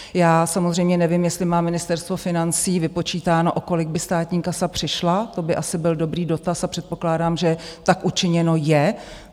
Já samozřejmě nevím, jestli má Ministerstvo financí vypočítáno, o kolik by státní kasa přišla, to by asi byl dobrý dotaz a předpokládám, že tak učiněno je.